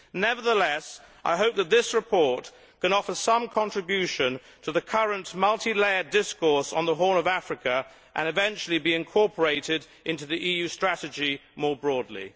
Nevertheless, I hope that this report can offer some contribution to the current multi layered discourse on the Horn of Africa and eventually be incorporated into the EU strategy more broadly.